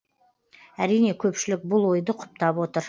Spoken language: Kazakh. әрине көпшілік бұл ойды құптап отыр